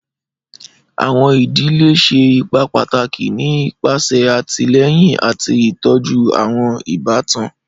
Àwọn idile ṣe ipa pataki ni ipese atilẹyin ati titọju àwọn ibatan.